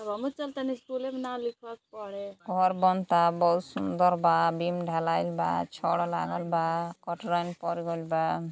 अब हमू चल तानी स्कूले में नाम लिखवाइ पढे। घर बनता बहुत सुंदर बा बीम ढलाईल बा छड़ लागल बा कटरैन पर गइल बा।